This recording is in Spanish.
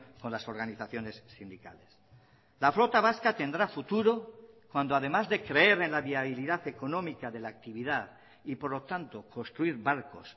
con las organizaciones sindicales la flota vasca tendrá futuro cuando además de creer en la viabilidad económica de la actividad y por lo tanto construir barcos